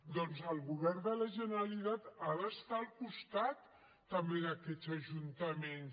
doncs el govern de la generalitat ha d’estar al costat també d’aquests ajuntaments